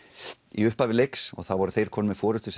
í upphafi leiks þá voru þeir komnir með forystu